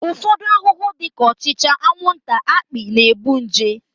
Ụfọdụ ahụhụ dị ka ọchịcha, anwụnta, akpị na-ebu nje